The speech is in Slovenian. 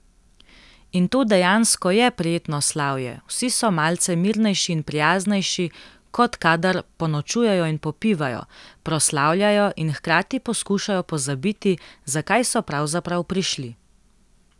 In to dejansko je prijetno slavje, vsi so malce mirnejši in prijaznejši, kot kadar ponočujejo in popivajo, proslavljajo in hkrati poskušajo pozabiti, zakaj so pravzaprav prišli.